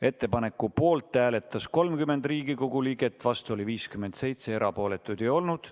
Ettepaneku poolt hääletas 30 Riigikogu liiget, vastu oli 57, erapooletuid ei olnud.